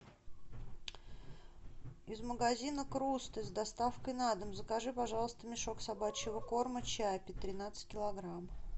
из магазина круст с доставкой на дом закажи пожалуйста мешок собачьего корма чаппи тринадцать килограмм